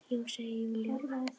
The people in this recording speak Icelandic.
Já, segir Júlía.